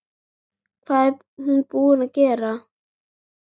Hvað er hún búin að gera!